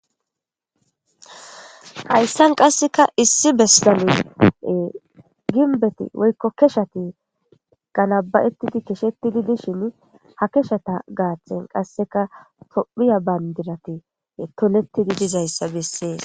Hayissan qasekka issi bessani ginbetti woyikko keshshatti ganaba'etyid keshshetid dishshinni haa keshshata gaththanni qassekka tophphiya banidirati tolettiddi dizayissa besses.